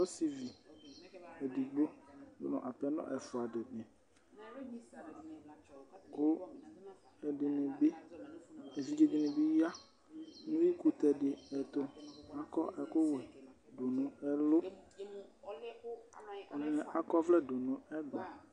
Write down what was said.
Ɔsɩvi edigbo dʋ nʋ apɛnɔ ɛfʋa dɩnɩ kʋ ɛdɩnɩ bɩ, evidze dɩnɩ bɩ ya nʋ uyuikʋtɛ dɩ ɛtʋ. Akɔ ɛkʋwɛ dʋ nʋ ɛlʋ, ɛdɩnɩ akɔ ɔvlɛ dʋ nʋ ɛgba.